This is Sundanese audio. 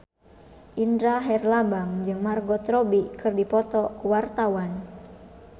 Indra Herlambang jeung Margot Robbie keur dipoto ku wartawan